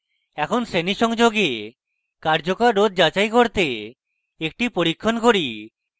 এখন শ্রেণী সংযোগে কার্যকর রোধ যাচাই করতে একটি পরীক্ষণ করি